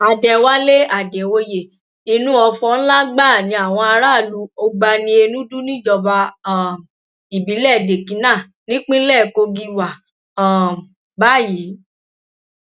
àdẹwálé àdèoyè inú ọfọ ńlá gbáà ni àwọn aráàlú ogbaniénúdú níjọba um ìbílẹ dèkínà nípínlẹ kogi wà um báyìí